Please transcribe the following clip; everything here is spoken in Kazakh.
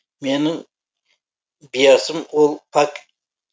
менің биасым ол пак